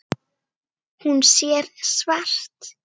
Hún sér svart.